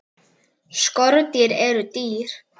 Skordýr eru dýr.